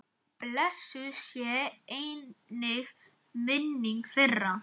Blessuð sé einnig minning þeirra.